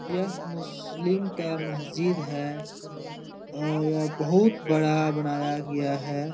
यह मुस्लिम का मस्जिद है और यह बहुत बड़ा बनाया गया है ।